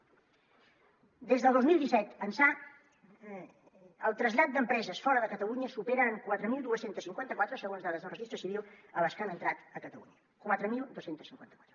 des del dos mil disset ençà el trasllat d’empreses fora de catalunya supera en quatre mil dos cents i cinquanta quatre segons dades del registre civil a les que han entrat a catalunya quatre mil dos cents i cinquanta quatre